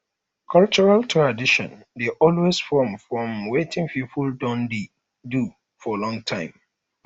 cultural tradition dey always from from wetin pipo don dey do for long